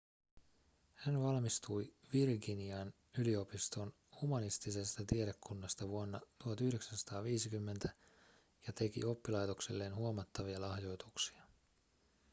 hän valmistui virginian yliopiston humanistisesta tiedekunnasta vuonna 1950 ja teki oppilaitokselleen huomattavia lahjoituksia